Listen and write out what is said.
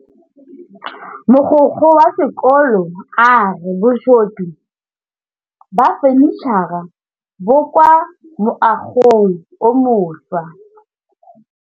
Mogokgo wa sekolo a re bosutô ba fanitšhara bo kwa moagong o mošwa.